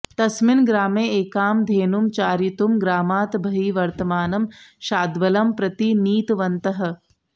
तस्मिन् ग्रामे एकां धेनुं चारयितुं ग्रामात् बहिः वर्तमानं शाद्वलं प्रति नीतवन्तः